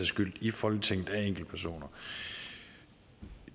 skyld i folketinget af enkeltpersoner